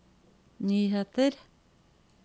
nyheter